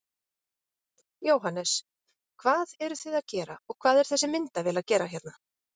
Jóhannes: Hvað eruð þið að gera og hvað er þessi myndavél að gera hérna?